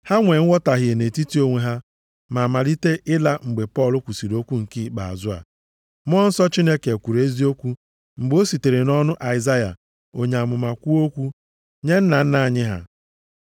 Ha nwe nghọtahie nʼetiti onwe ha ma malite ịla mgbe Pọl kwusiri okwu nke ikpeazụ a, “Mmụọ Nsọ Chineke kwuru eziokwu mgbe o sitere nʼọnụ Aịzaya onye amụma kwuo okwu nye nna nna anyị ha,